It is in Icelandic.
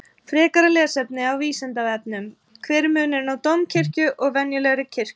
Frekara lesefni á Vísindavefnum: Hver er munurinn á dómkirkju og venjulegri kirkju?